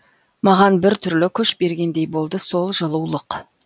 маған бір түрлі күш бергендей болды сол жылулық